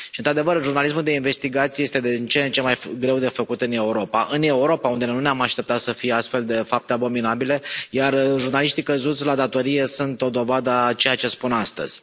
Și într adevăr, jurnalismul de investigație este din ce în ce mai greu de făcut în Europa, în Europa, unde nu ne am aștepta să fie astfel de fapte abominabile, iar jurnaliștii căzuți la datorie sunt o dovadă a ceea ce spun astăzi.